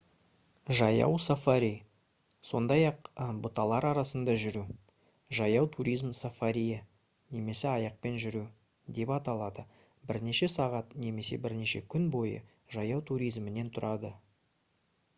жаяу сафари сондай-ақ «бұталар арасында жүру» «жаяу туризм сафариі» немесе «аяқпен жүру» деп аталады бірнеше сағат немесе бірнеше күн бойғы жаяу туризмнен тұрады